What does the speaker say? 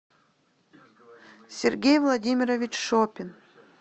сергей владимирович шопин